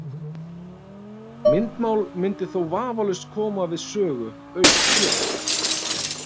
Myndmál mundi þó vafalaust koma við sögu auk hljóðs.